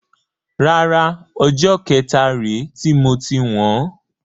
Rárá, ọjọ́ kẹta rè ti moti wọn.